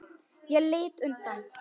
Ég lít undan.